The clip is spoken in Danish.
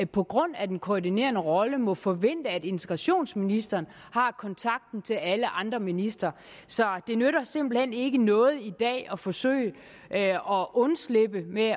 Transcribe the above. på grund af den koordinerende rolle må forvente at integrationsministeren har kontakten til alle andre ministre så det nytter simpelt hen ikke noget i dag at forsøge at undslippe med